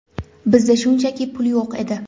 Bizda shunchaki pul yo‘q edi.